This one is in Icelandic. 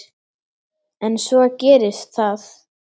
En svo gerist það.